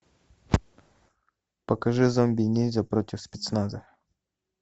покажи зомби ниндзя против спецназа